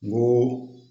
N ko